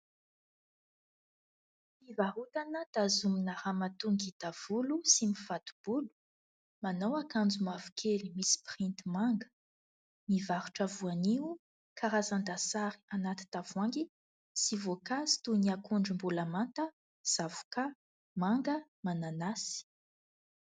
Fivarotana tazomina ramatoa ngita volo sy mifato-bolo. Manao akanjo mavokely misy printy manga. Mivarotra voanio, karazan-dasary anaty tavoahangy sy voankazo toy ny akondro mbola manta, zavokà, manga, mananasy.